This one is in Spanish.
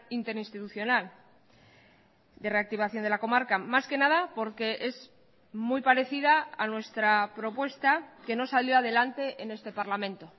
interinstitucional de reactivación de la comarca más que nada porque es muy parecida a nuestra propuesta que no salió adelante en este parlamento